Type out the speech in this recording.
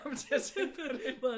Kom til at tænke på det